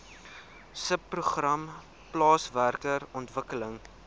subprogram plaaswerker ontwikkeling